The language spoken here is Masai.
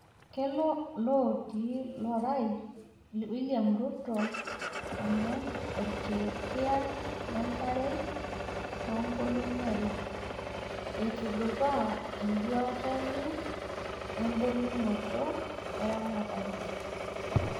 Keloo oOlooti lorai William Ruto aman olkerekia le nkare toonkolongi are eitudupaa eduata enye ebulunoto eramatare.